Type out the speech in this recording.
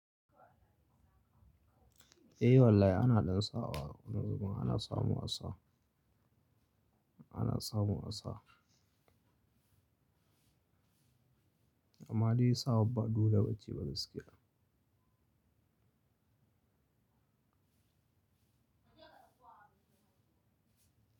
Eh wallahi ana ɗan saɓawa. Kuma wani zubin ana samu a sa, ana samu a sa. Amma dai sawar ba dole bace ba ce gaskiya.